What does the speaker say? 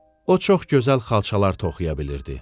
O çox gözəl xalçalar toxuya bilirdi.